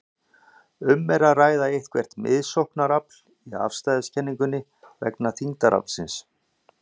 Er um að ræða eitthvert miðsóknarafl í afstæðiskenningunni vegna þyngdaraflsins?